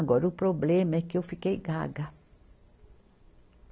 Agora, o problema é que eu fiquei gaga.